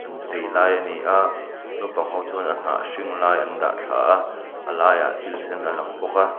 an chei lai a ni a naupang ho chuan a hnah hring lai an dah thla a a laiah thil sen a lang bawk a.